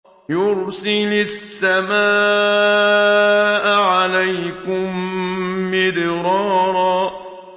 يُرْسِلِ السَّمَاءَ عَلَيْكُم مِّدْرَارًا